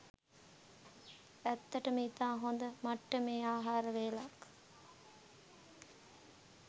ඇත්තටම ඉතා හොද මට්ටමේ ආහාර වේලක්